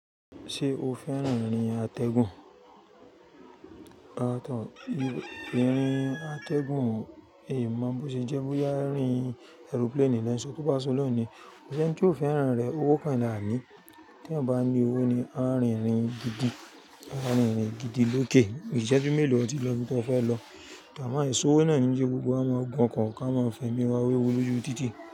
Ṣé o fẹ́ràn ìrìn atẹ́gùn? Rárá, ìrìn atẹ́gùn, in má mọ̀ bó ṣe jẹ́ bóyá ìrìn aeroplane ni lẹ́ńṣọ kú bá san lọ ni. Koṣì ẹni tí oó fẹ́ràn rẹ̀ owó kan là á ní. Tí èèyàn bá ní owó ni a ń rìn-ìrìn gidi lókè, ìṣẹ́jú mélòó ọ tí lọ ibi tó fẹ́ lọ. A mo aiṣòwò náà ní ló jẹ́ kí gbogbo, wa máa gun ọkọ̀, ká máa fẹmi wa wewu lójú títì.